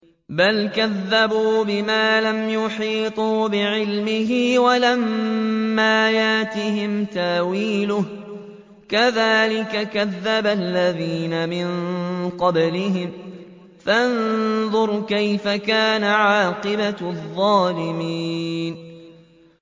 بَلْ كَذَّبُوا بِمَا لَمْ يُحِيطُوا بِعِلْمِهِ وَلَمَّا يَأْتِهِمْ تَأْوِيلُهُ ۚ كَذَٰلِكَ كَذَّبَ الَّذِينَ مِن قَبْلِهِمْ ۖ فَانظُرْ كَيْفَ كَانَ عَاقِبَةُ الظَّالِمِينَ